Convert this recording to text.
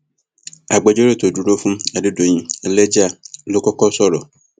agbẹjọrò tó dúró fún adédọyìn ẹlẹja ló kọkọ sọrọ